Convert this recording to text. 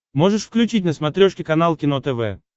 можешь включить на смотрешке канал кино тв